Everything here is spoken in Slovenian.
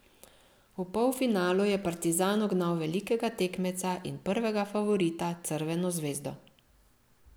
V polfinalu je Partizan ugnal velikega tekmeca in prvega favorita Crveno zvezdo.